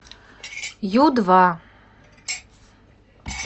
ю два